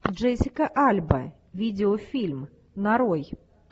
джессика альба видеофильм нарой